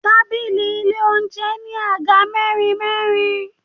Tábìlì ilé oúnjẹ ní Àga mẹ́rin mẹ́rin.